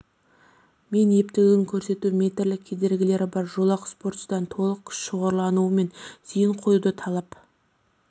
мен ептілігін көрсетті метрлік кедергілері бар жолақ спортшыдан толық күш шоғырлануы мен зейін қоюды талап